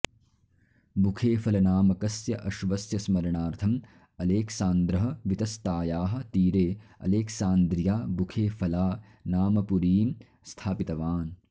बुखेफलनामकस्य अश्वस्य स्मरणार्थम् अलेक्सान्द्रः वितस्तायाः तीरे अलेक्सान्द्रिया बुखेफला नाम पुरीम् स्थापितवान्